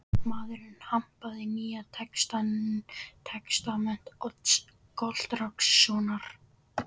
Maðurinn hampaði Nýja testamenti Odds Gottskálkssonar.